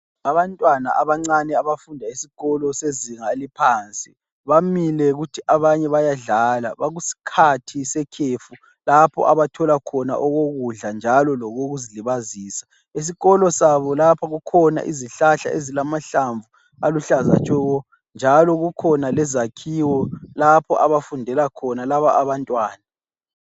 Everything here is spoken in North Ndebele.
Abantwana abancane abafunda esikolo sezinga eliphansi bamile kuthi abanye bayadlala bakusikhathi sekhefu lapho abathola khona okokudla njalo lokokuzilibazisa. Esikolo sabo lapha kukhona izihlahla ezilamahlamvu aluhlaza tshoko, njalo kukhona lezakhiwo lapho abafundela khona laba abantwana.